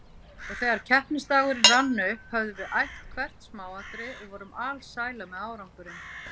Og þegar keppnisdagurinn rann upp höfðum við æft hvert smáatriði og vorum alsælar með árangurinn.